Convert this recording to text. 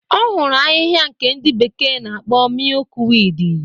Ọ hụrụ ahịhịa nke ndị bekee na-akpọ mịyụk wiidi.